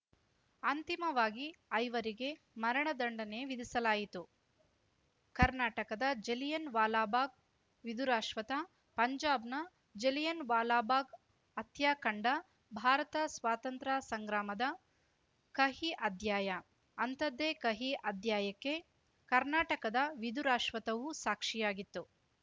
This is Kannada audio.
ಅಂತಿಮವಾಗಿ ಐವರಿಗೆ ಮರಣ ದಂಡನೆ ವಿಧಿಸಲಾಯಿತು ಕರ್ನಾಟಕದ ಜಲಿಯನ್‌ ವಾಲಾಬಾಗ್‌ ವಿದುರಾಶ್ವತ್ಥ ಪಂಜಾಬ್‌ನ ಜಲಿಯನ್‌ ವಾಲಾಬಾಗ್‌ ಹತ್ಯಾಕಾಂಡ ಭಾರತ ಸ್ವಾತಂತ್ರ್ಯ ಸಂಗ್ರಾಮದ ಕಹಿ ಅಧ್ಯಾಯ ಅಂಥದ್ದೇ ಕಹಿ ಅಧ್ಯಾಯಕ್ಕೆ ಕರ್ನಾಟಕದ ವಿಧುರಾಶ್ವತ್ಥವೂ ಸಾಕ್ಷಿಯಾಗಿತ್ತು